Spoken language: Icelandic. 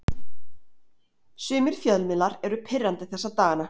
Sumir fjölmiðlar eru pirrandi þessa dagana.